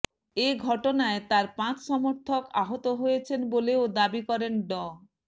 এ ঘটনায় তার পাঁচ সমর্থক আহত হয়েছেন বলেও দাবি করেন ড